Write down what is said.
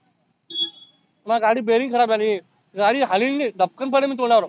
माह्या गाडी bearing खराब झाली. गाडी हालीन नाही धपकीन पडीन तोंडावर.